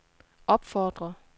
opfordrer